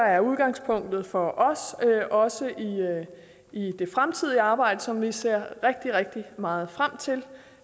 er udgangspunktet for os også i det fremtidige arbejde som vi ser rigtig rigtig meget frem til